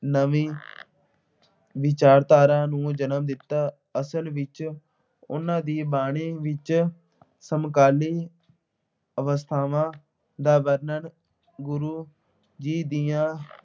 ਨਵੀਂ ਵਿਚਾਰਧਾਰਾ ਨੂੰ ਜਨਮ ਦਿੱਤਾ। ਅਸਲ ਵਿੱਚ ਉਨ੍ਹਾਂ ਦੀ ਬਾਣੀ ਵਿੱਚ ਸਮਕਾਲੀ ਅਵਸਥਾਵਾਂ ਦਾ ਵਰਣਨ, ਗੁਰੂ ਜੀ ਦੀਆਂ